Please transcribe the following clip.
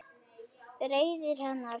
Reiði hennar